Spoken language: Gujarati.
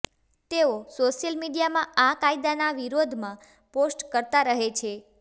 તેઓ સોશિયલ મીડિયામાં આ કાયદાના વિરોધમાં પોસ્ટ કરતાં રહે છે